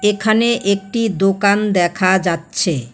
এখানে একটি দোকান দেখা যাচ্ছে।